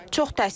Çox təsirləndim.